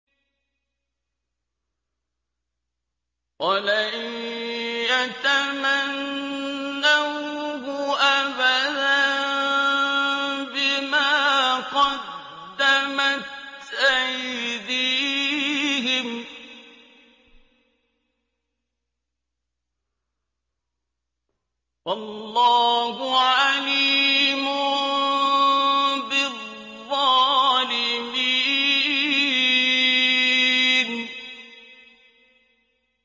وَلَن يَتَمَنَّوْهُ أَبَدًا بِمَا قَدَّمَتْ أَيْدِيهِمْ ۗ وَاللَّهُ عَلِيمٌ بِالظَّالِمِينَ